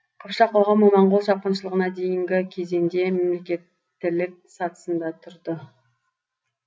қыпшақ қоғамы моңғол шапқыншылығына дейінгі кезенде мемлекеттілік сатысында тұрды